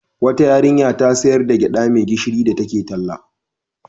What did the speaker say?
Wata yarinya ta sayar da gyaɗa mai gishirin da take talla.